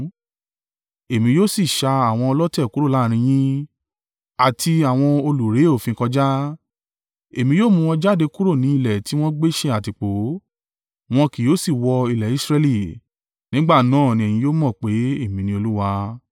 Èmi yóò si ṣa àwọn ọlọ̀tẹ̀ kúrò láàrín yín, àti àwọn o lù re òfin kọjá, èmi yóò mu wọn jáde kúrò ni ilẹ̀ tiwọn gbé ṣe àtìpó, wọn ki yóò si wọ ilẹ̀ Israẹli. Nígbà náà ní ẹ̀yin yóò mọ̀ pé, èmi ní Olúwa.